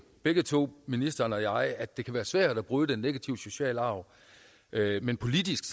begge to ministeren og jeg at det kan være svært at bryde den negative sociale arv men politisk